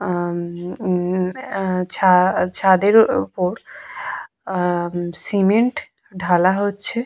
আহ উম আহ ছা ছাদের ওপর আহ সিমেন্ট ঢালা হচ্ছে।